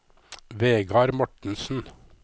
Vegar Mortensen